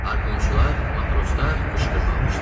Harpunçular, matroslar qışqırmağa başladılar.